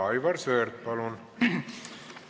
Aivar Sõerd, palun!